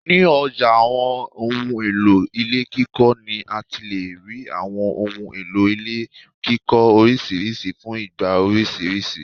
Ni ọjà àwọn ohùn èlò ilé kíkọ ni àti lè rí àwọn ohun èlò ilé kíkọ orisirisi fún ìgbà orisirisi